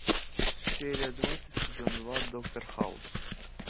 серия двадцать сезон два доктор хаус